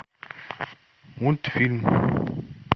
мультфильм